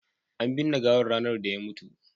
an binne gawan ranar da ya mutu